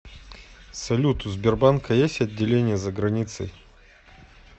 салют у сбербанка есть отделения за границей